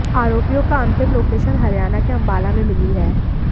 आरोपियों का अंतिम लोकेशन हरियाणा के अंबाला में मिली है